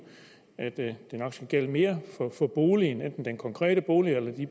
at det nok skulle gælde mere for boligen enten den konkrete bolig eller